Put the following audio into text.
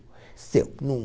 Seu. Não